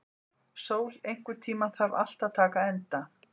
Sól, einhvern tímann þarf allt að taka enda.